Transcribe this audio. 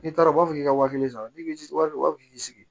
N'i taara u b'a fɔ k'i ka wa kelen san n'i bɛ ji wari u b'a fɔ k'i k'i sigi